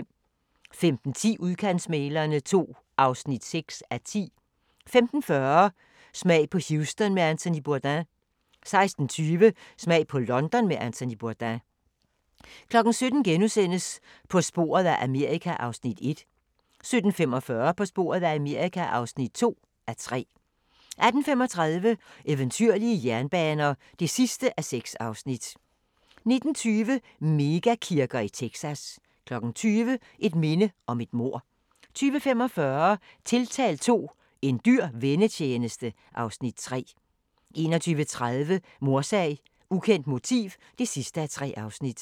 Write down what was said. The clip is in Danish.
15:10: Udkantsmæglerne II (6:10) 15:40: Smag på Houston med Anthony Bourdain 16:20: Smag på London med Anthony Bourdain 17:00: På sporet af Amerika (1:3)* 17:45: På sporet af Amerika (2:3) 18:35: Eventyrlige jernbaner (6:6) 19:20: Mega-kirker i Texas 20:00: Et minde om et mord 20:45: Tiltalt II – En dyr vennetjeneste (Afs. 3) 21:30: Mordsag: Ukendt motiv (3:3)